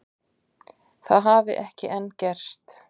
Það hafi ekki enn gerst